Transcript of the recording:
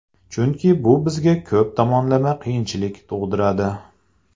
Chunki bu bizga ko‘p tomonlama qiyinchilik tug‘diradi.